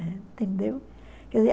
Entendeu?